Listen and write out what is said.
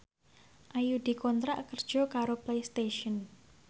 Ayu dikontrak kerja karo Playstation